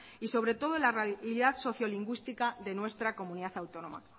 y sobre todo la realidad socio lingüística de nuestra comunidad autónoma